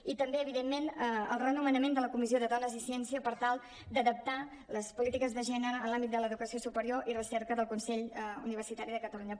i també evidentment el renomenament de la comissió de dones i ciència per tal d’adaptar les polítiques de gè·nere en l’àmbit de l’educació superior i recerca del consell universitari de catalunya